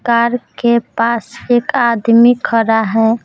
Car के पास एक आदमी खड़ा है।